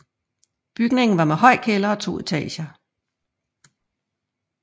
Bygningen var med høj kælder og to etager